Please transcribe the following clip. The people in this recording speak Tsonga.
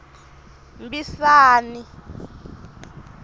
mbisane